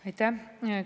Aitäh!